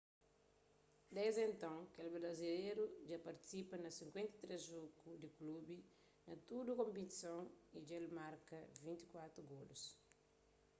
desdi nton kel brazileru dja partisipa na 53 jogu pa klubi na tudu konpetison y dja el marka 24 golus